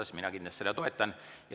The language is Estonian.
Siis mina kindlasti seda toetan.